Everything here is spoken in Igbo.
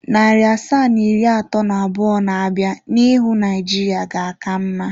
Narị asaa na iri atọ na abụọ na-abịa n'ihu Naijiria ga-aka mma.